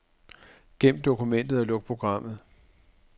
Gem dokumentet og luk programmet.